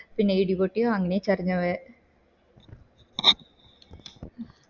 പിന്നെ ഇടി പൊട്ടിയെ നന്നേ ചെരിഞ്ഞ് പോയെ